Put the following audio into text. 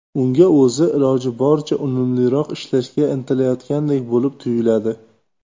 Unga o‘zi, iloji boricha unumliroq ishlashga intilayotgandek bo‘lib tuyuladi.